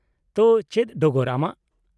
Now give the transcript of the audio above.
-ᱛᱚ, ᱪᱮᱫ ᱰᱚᱜᱚᱨ ᱟᱢᱟᱜ ?